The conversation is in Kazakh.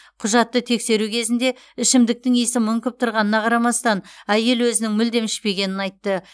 құжатты тексеру кезінде ішімдіктің иісі мүңкіп тұрғанына қарамастан әйел өзінің мүлдем ішпегенін айтты